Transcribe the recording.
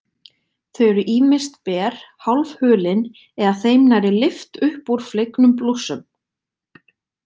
Þau eru ýmist ber, hálfhulin eða þeim nærri lyft upp úr flegnum blússum.